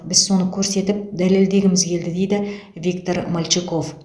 біз соны көрсетіп дәлелдегіміз келді дейді виктор мальчиков